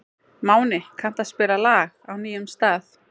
Máni, kanntu að spila lagið „Á nýjum stað“?